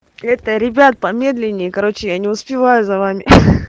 это ребят помедленнее короче я не успеваю за вами ха-ха